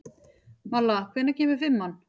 Malla, hvenær kemur fimman?